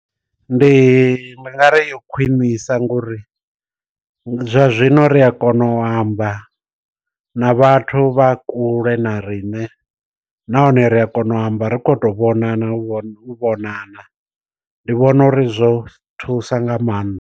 Ndi nga ri yo khwiṋisa ngo uri, zwa zwino ri a kona u amba na vhathu vha kule na riṋe. Nahone ri a kona u amba ri khou tou vhonana u vhonana ndi vhona uri zwo thusa nga maanḓa.